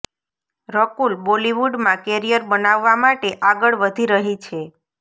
રકુલ બોલિવુડમાં કેરિયર બનાવવા માટે આગળ વધી રહી છે